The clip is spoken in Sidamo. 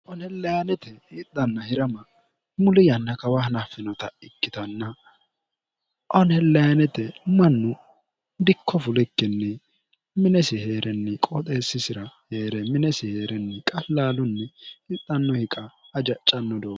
onhellayaanete hixhanna hi'rama muli yanna kawaahana finota ikkitanna onhellayaanete mannu dikko fulikkinni minesi hee'renni qooxeessisira hee're minesi hee'renni qallaalunni hixxanno hiqa hajaccanno do